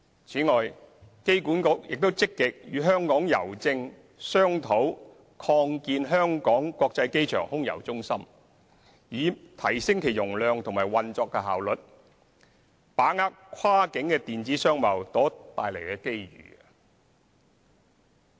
此外，機管局亦積極與香港郵政商討擴建香港國際機場空郵中心，以提升其容量和運作效率，把握跨境電子商貿所帶來的機遇。